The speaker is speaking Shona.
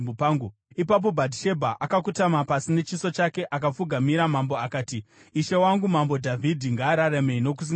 Ipapo Bhatishebha akakotama pasi nechiso chake akapfugamira mambo akati, “Ishe wangu, Mambo Dhavhidhi, ngaararame nokusingaperi!”